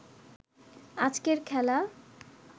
আজকের খেলা